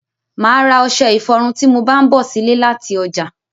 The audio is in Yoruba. Máà ra ọṣẹ ifọrun tí mo bá ń bọ̀ sile láti ọjà